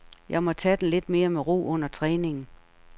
Jeg må tage den lidt mere med ro under træningen.